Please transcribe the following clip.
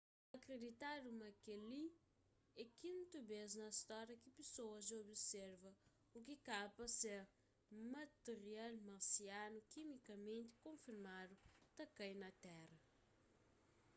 ta akriditadu ma kel-li é kintu bês na stória ki pesoas dja observa u ki kaba pa ser matirial marsianu kimikamenti konfirmadu ta kai na tera